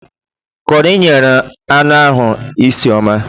Kọri nyere anụ ahụ isi ọma